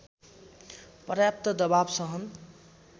पर्याप्त दबाव सहन